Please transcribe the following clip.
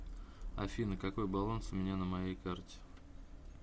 афина какой баланс у меня на моей карте